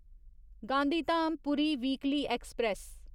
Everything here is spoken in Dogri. Gandhidham Puri weekly express